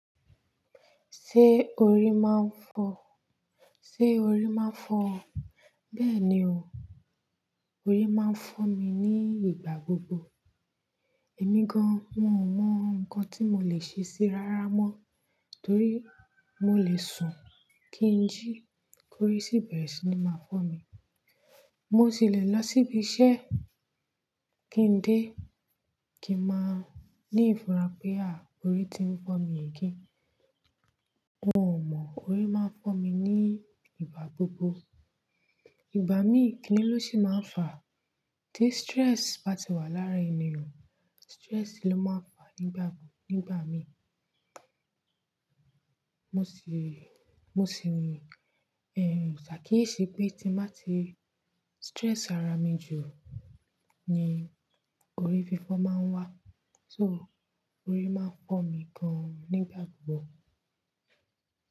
Ṣé orí máa ń fọ́ ọ? Béèni o, orí máa ń fọ́ mi ní ìgbà gbogbo. Èmi gan, wun ò mọ nǹkan tí mo lè ṣe síi rárá mọ. Torí mo lè sùn kí n jí, kórí sì bẹ̀rẹ̀ síí ni máa fọ́ mi. Mo sì le lọ síbi iṣẹ́ kí n dé, kí n máa ní ìfura pé à, orí ti ń fọ́ mi again. Wun ò mọ, orí máa ń fọ́ mi ní ìgbà gbogbo. Ìgbà mí, kí ni ló ṣi máa ń fà á? Tí stress bá ti wà lára ènìyàn, stress ló máa ń fà á nígbà Nígbà mí, mo sì, sàkíyèsí pé tí n bá ti stress ara mi jù ni orí fífọ́ máa ń wá. So orí máa ń fọ́ mi gan an ni ìgbà gbogbo.